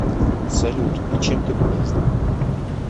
салют и чем ты полезна